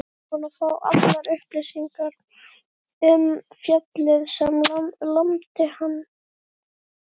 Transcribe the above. Búinn að fá allar upplýsingar um fjallið sem lamdi hann.